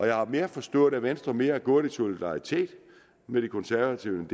jeg har forstået at venstre mere er gået i solidaritet med de konservative